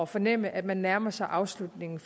fornemme at man nærmer sig afslutningen